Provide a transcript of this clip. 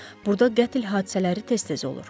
Burda qətl hadisələri tez-tez olur.